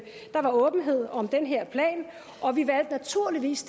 der var åbenhed om den her plan og at vi naturligvis